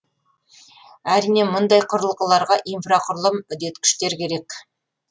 әрине мұндай құрылғыларға инфрақұрылым үдеткіштер керек